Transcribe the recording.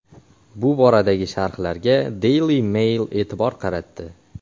Bu boradagi sharhlarga Daily Mail e’tibor qaratdi.